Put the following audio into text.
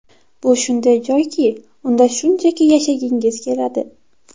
Bu shunday joyki, unda shunchaki yashagingiz keladi.